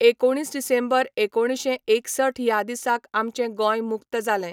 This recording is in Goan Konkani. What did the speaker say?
एकोणीस डिसेंबर एकोणशें एकसठ ह्या दिसाक आमचें गोंय मुक्त जालें.